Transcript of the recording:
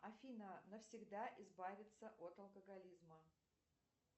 афина навсегда избавиться от алкоголизма